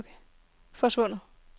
forsvundet